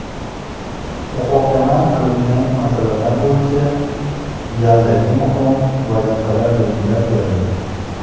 Muhokama qilingan masalalar bo‘yicha galdagi muhim vazifalar belgilab berildi.